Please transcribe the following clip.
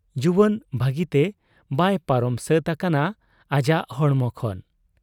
ᱡᱩᱣᱟᱹᱱ ᱵᱷᱟᱹᱜᱤᱛᱮ ᱵᱟᱭ ᱯᱟᱨᱚᱢ ᱥᱟᱹᱛ ᱟᱠᱟᱱᱟ ᱟᱡᱟᱜ ᱦᱚᱲᱢᱚ ᱠᱷᱚᱱ ᱾